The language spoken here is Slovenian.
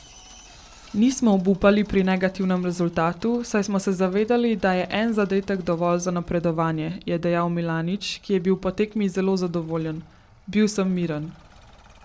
Nismo obupali pri negativnem rezultatu, saj smo se zavedali, da je en zadetek dovolj za napredovanje," je dejal Milanič, ki je bil po tekmi zelo zadovoljen: "Bil sem miren.